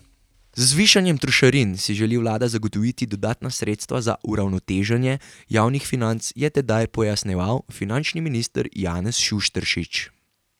Z zvišanjem trošarin si želi vlada zagotoviti dodatna sredstva za uravnoteženje javnih financ, je tedaj pojasnjeval finančni minister Janez Šušteršič.